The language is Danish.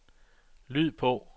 lyd på